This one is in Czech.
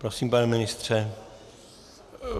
Prosím, pane ministře.